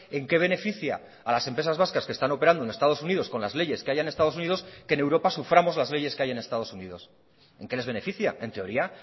en qué beneficia a las empresas vascas que están operando en estados unidos con las leyes que haya en estados unidos que en europa suframos las leyes que hay en estados unidos en qué les beneficia en teoría